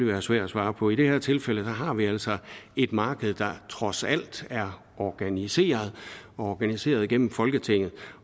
være svært at svare på i det her tilfælde har vi altså et marked der trods alt er organiseret og organiseret gennem folketinget